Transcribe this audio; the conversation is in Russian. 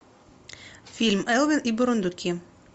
фильм элвин и бурундуки